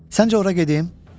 Səncə ora gedim?